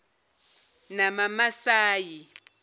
namamasayi